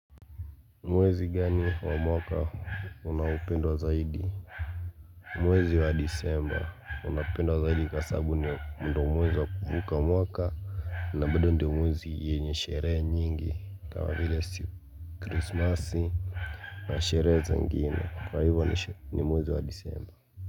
Mwezi gani wa mwaka unaopendwa zaidi? Mwezi wa disemba unapendwa zaidi kasababu ni ndo mwezi wa kuvuka mwaka. Na bado ndo mwezi yenye sherehe nyingi kama vile si Kristmasi na sherehe zengine kwa hivyo ni mwezi wa Disemba.